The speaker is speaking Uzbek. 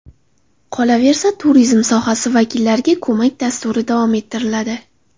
Qolaversa, turizm sohasi vakillariga ko‘mak dasturi davom ettiriladi.